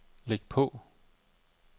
læg på